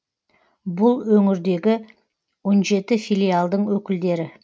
бұл өңірдегі он жеті филиалдың өкілдері